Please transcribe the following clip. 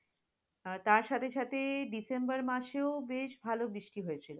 আহ তার সাথে সাথে ডিসেম্বর মাসেও বেশ ভাল বৃষ্টি হয়েছে।